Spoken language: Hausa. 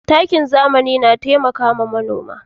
Takin zamani na taimakawa manoma.